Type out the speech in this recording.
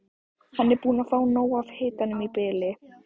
Hann er búinn að fá nóg af hitanum í bili.